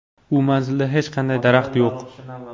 U manzilda hech qanday daraxt yo‘q.